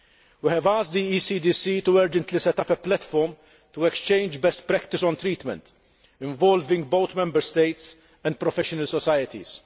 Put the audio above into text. We have asked the ECDC to urgently set up a platform to exchange best practice on treatment, involving both Member States and professional societies.